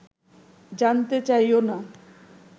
জানতে চাইও না